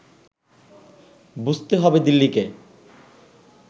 বুঝতে হবে দিল্লিকে